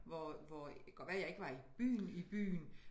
Hvor hvor det kan godt være jeg ikke var i byen i byen